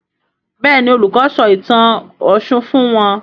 Béèni Olùkó sọ ìtàn òshun fún wón.